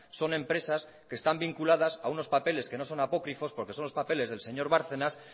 son empresas que están vinculadas a unos papeles que no son apócrifos porque son los papeles del señor bárcenas